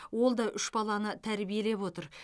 ол да үш баланы тәрбиелеп отыр